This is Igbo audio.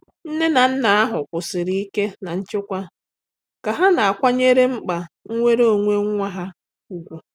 Nne na nna ahụ kwụsiri ike na nchekwa ka ha na-akwanyere mkpa nnwere onwe nwa ha ụgwụ.